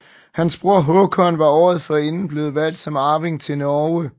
Hans bror Håkon var året forinden blevet valgt som arving til Norge